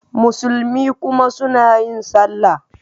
Musulmi kuma suna yin Sallah.